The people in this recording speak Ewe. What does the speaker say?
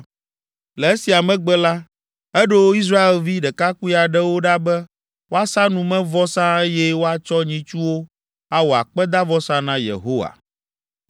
Le esia megbe la, eɖo Israelvi ɖekakpui aɖewo ɖa be woasa numevɔsa eye woatsɔ nyitsuwo awɔ akpedavɔsa na Yehowa.